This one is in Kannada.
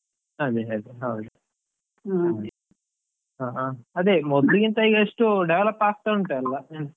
ಅದೇ ಅದೇ ಹೌದು, ಅದೇ, ಹಾ ಮೊದ್ಲಿಗಿಂತ ಈಗ ಎಷ್ಟೋ develop ಆಗ್ತಾ ಉಂಟ್ ಅಲಾ.